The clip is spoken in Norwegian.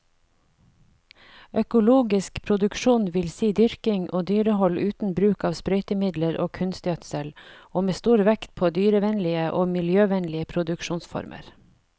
Økologisk produksjon vil si dyrking og dyrehold uten bruk av sprøytemidler og kunstgjødsel, og med stor vekt på dyrevennlige og miljøvennlige produksjonsformer.